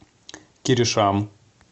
киришам